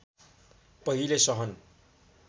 पहिले सहन